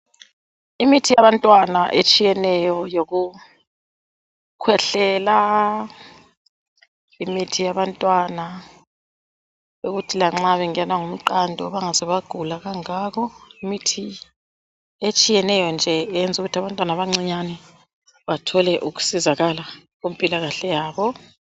Imithi yabantwana etshiyeneyo yokukhwehlela, imithi yabantwana yokuthi lanxa bengenwa ngumqando bengaze bagula kangako. Imithi etshiyeneyo nje eyenza ukuthi abantwana abancinyane bathole ukusizakala kumpilakahle yabo.